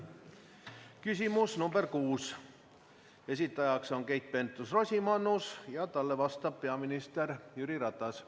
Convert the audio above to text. Küsimus nr 6, esitajaks on Keit Pentus-Rosimannus ja talle vastab peaminister Jüri Ratas.